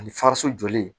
Ani fariso joli